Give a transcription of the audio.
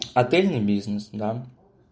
отельный бизнес да